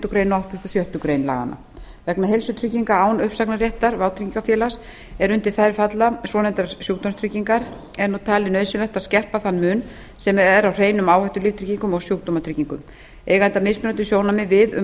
greinar og áttugustu og sjöttu grein laganna vegna heilsutrygginga án uppsagnarréttar vátryggingafélagi er undir þær falla svonefndar sjúkratryggingar er talið nauðsynlegt að skerpa þann mun sem er á hreinum áhættulíftryggingum og sjúkdómatryggingum eiga mismunandi sjónarmið við um